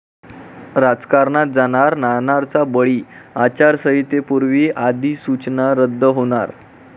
राजकारणात जाणार 'नाणार'चा बळी, आचारसंहितेपूर्वी अधिसूचना रद्द होणार!